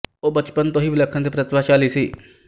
ਉਹ ਬਚਪਨ ਤੋਂ ਹੀ ਵਿਲੱਖਣ ਅਤੇ ਪ੍ਰਤਿਭਾਸ਼ੀਲ ਸੀ